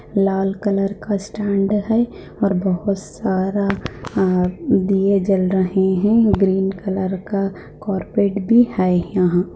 लाल colour का stand है और बहोत सारा अ दिए जल रहे हैं ग्रीन कलर का कारपेट भी है यहाँ।